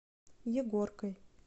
егоркой